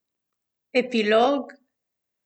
Epilog?